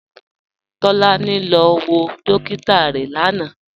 Tolani lọ wọ dòkìtà rẹ lánà.